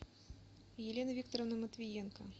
елены викторовны матвиенко